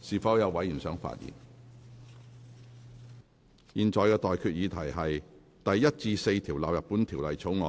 我現在向各位提出的待決議題是：第1至4條納入本條例草案。